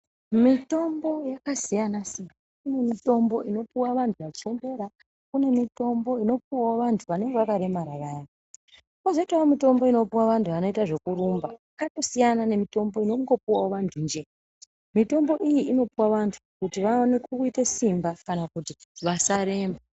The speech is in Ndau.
Mitombo yakasiyana siyana. Kune mitombo inopuwa vanhu vachembera, kune mitombo inopuwawo vantu vanenge vakaremara vaya, kozoitawo mitombo inopuwa vantu vanoita zvekurumba. Yakatosiyana nemitombo inongopuwawo vantu njee. Mitombo iyi inopuwa vantu kuti vawane kuite simba kana kuti vasaremba.